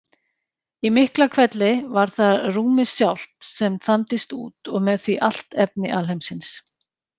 Í Miklahvelli var það rúmið sjálft sem þandist út og með því allt efni alheimsins.